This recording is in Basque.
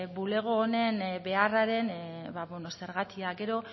bulego honen beharraren zergatia gero